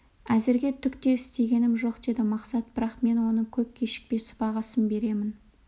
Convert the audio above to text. әзірге түк те істегенім жоқ деді мақсат бірақ мен оның көп кешікпей сыбағасын беремін